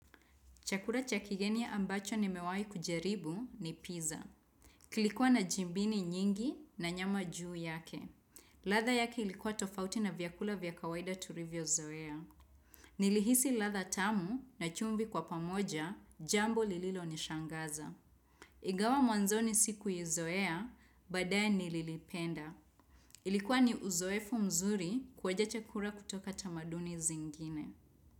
Chakura cha kigeni ambacho nimewahi kujaribu ni pizza. Kilikuwa na jimbini nyingi na nyama juu yake. Ladha yake ilikuwa tofauti na vyakula vya kawaida turivyozoea. Nilihisi ladha tamu na chumvi kwa pamoja jambo lililonishangaza. Ingawa mwanzoni sikuizoea badaye nililipenda. Ilikuwa ni uzoefu mzuri kuonja chakura kutoka tamaduni zingine.